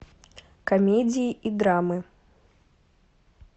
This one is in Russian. комедии и драмы